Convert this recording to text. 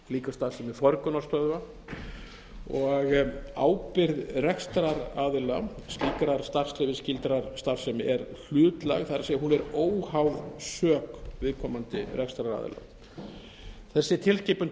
líka starfsemi förgunarstöðva og ábyrgð rekstraraðila slíkrar starfsleyfisskyldrar starfsemi er hlutlæg það er að hún er óháð sök viðkomandi rekstraraðila þessi tilskipun